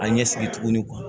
A ɲɛ sigi tuguni